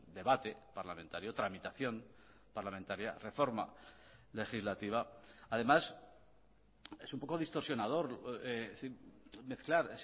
debate parlamentario tramitación parlamentaria reforma legislativa además es un poco distorsionador mezclar